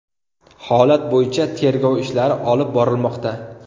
Holat bo‘yicha tergov ishlari olib borilmoqda.